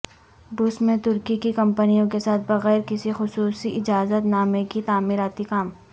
روس میں ترکی کی کمپنیوں کے ساتھ بغیر کسی خصوصی اجازت نامے کے تعمیراتی کام